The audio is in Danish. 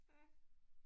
Ja